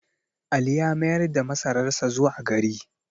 Ali ya mayar da masararsa zuwa gari